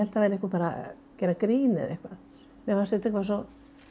það væri einhver að gera grín eða eitthvað mér fannst þetta eitthvað svo